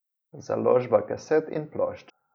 Založba kaset in plošč.